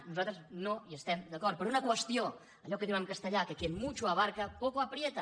nosaltres no hi estem d’acord per una qües·tió allò que diuen en castellà que quien mucho abarca poco aprieta